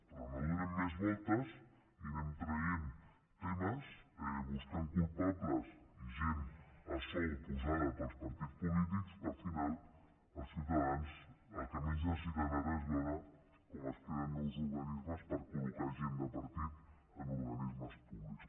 però no donem més voltes i anem traient temes buscant culpables i gent a sou posada pels partits polítics que al final els ciutadans el que menys necessiten ara és veure com es creen nous organismes per col·locar gent de partit en organismes públics